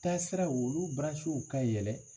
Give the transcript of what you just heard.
Taasiraw olu ka yɛlɛ